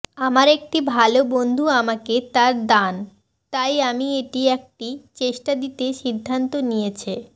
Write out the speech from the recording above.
আমার একটি ভাল বন্ধু আমাকে তার দান তাই আমি এটি একটি চেষ্টা দিতে সিদ্ধান্ত নিয়েছে